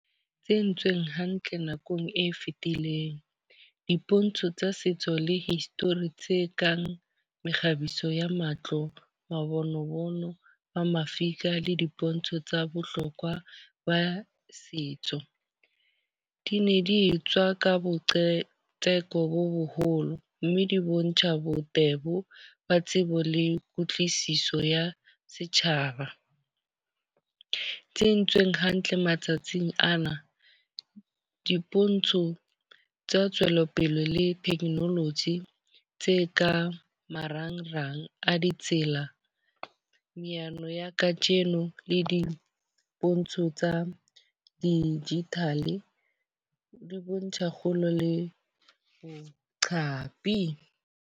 E entsweng hantle nakong e fetileng. Dipontsho tsa setso le history tse kang mekgabiso ya matlo, mabone mono ba mafika le dipontsho tsa bohlokwa ba setso. Di ne di etswa ka boqhetseke bo boholo. Mme di bontjha botebo ba tsebo le kutlwisiso ya setjhaba. Tse entsweng hantle matsatsing ana. Dipontsho tsa tswelopele le technology tse kang marangrang a ditsela. Mehlano ya kajeno le dipontsho tsa digital di bontsha kgolo le boqhapi.